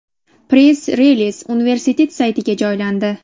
Press-reliz universitet saytiga joylandi .